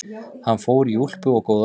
Hann fór í úlpu og góða skó.